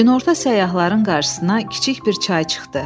Günorta səyyahların qarşısına kiçik bir çay çıxdı.